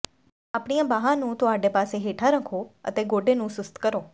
ਆਪਣੀਆਂ ਬਾਂਹਾਂ ਨੂੰ ਤੁਹਾਡੇ ਪਾਸੇ ਹੇਠਾਂ ਰੱਖੋ ਅਤੇ ਗੋਡੇ ਨੂੰ ਸੁਸਤ ਕਰੋ